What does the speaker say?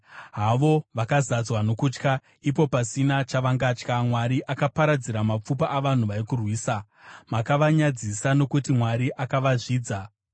Havo, vakazadzwa nokutya, ipo pasina chavangatya. Mwari akaparadzira mapfupa avanhu vaikurwisa; makavanyadzisa, nokuti Mwari akavazvidza.